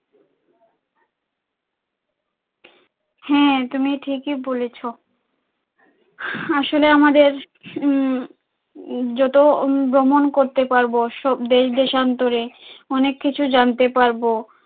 হ্যাঁ, তুমি ঠিকই বলেছ, আসলে আমাদের উম যত ভ্রমন করতে পারবো দেশ দেশান্তরে অনেক কিছু জানতে পারবো।